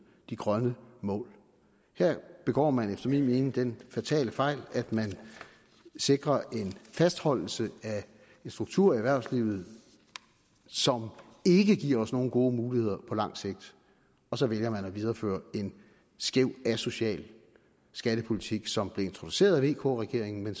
de grønne mål her begår man efter min mening den fatale fejl at man sikrer en fastholdelse af en struktur i erhvervslivet som ikke giver os nogen gode muligheder på langt sigt og så vælger man desværre at videreføre en skæv asocial skattepolitik som blev introduceret af vk regeringen